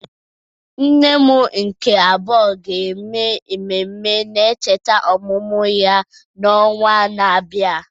Nne m nke abuo ga-eme ememme ncheta ọmụmụ ya n'ọnwa na-abịa.